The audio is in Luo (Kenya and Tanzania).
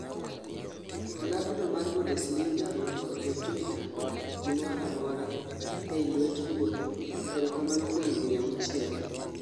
klab no mar Bundesliga ondiko ei Twitter:"gimora mora ei lwet Ruoth erokamano kuom higni auchiel"